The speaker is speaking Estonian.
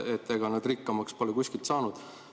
Ega nad rikkamaks pole kuskilt saanud.